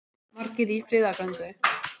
Margir í friðargöngu